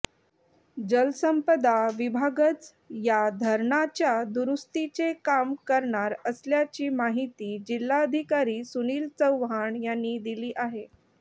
जलसंपदा विभागच या धरणाच्या दुरुस्तीचे काम करणार असल्याची माहिती जिल्हाधिकारी सुनील चव्हाण यांनी दिली आहे